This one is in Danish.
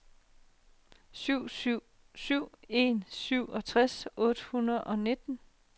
syv syv syv en syvogtres otte hundrede og nitten